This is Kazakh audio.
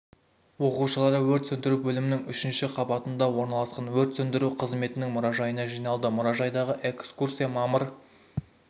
оқушылары өрт сөндіру бөлімінің үшінші қабатында орналасқан өрт сөндіру қызметінің мұражайына жиналды мұражайдағы экскурсия мамыр